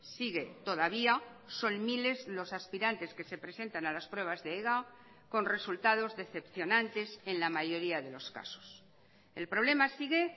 sigue todavía son miles los aspirantes que se presentan a las pruebas de ega con resultados decepcionantes en la mayoría de los casos el problema sigue